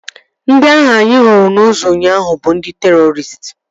Ndị ahụ anyị hụrụ n'ụzọ ụnyaahụ bụ ndị terọristị